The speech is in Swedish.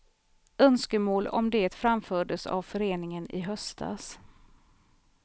Önskemål om det framfördes av föreningen i höstas.